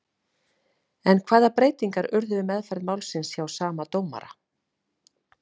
En hvaða breytingar urðu við meðferð málsins hjá sama dómara?